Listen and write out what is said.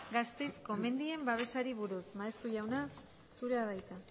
gasteizko mendien babesari buruz maeztu jauna zurea da hitza